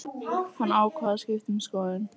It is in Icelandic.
Hann ákvað að skipta um skoðun.